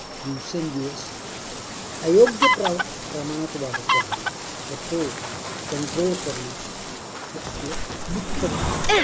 दिवसेंदिवस अयोग्य प्रमाणात वाढतो आहे. तो control करणं हे आपलं मुख्य काम.